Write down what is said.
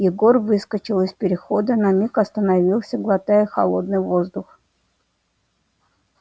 егор выскочил из перехода на миг остановился глотая холодный воздух